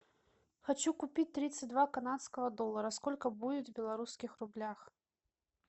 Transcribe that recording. хочу купить тридцать два канадского доллара сколько будет в белорусских рублях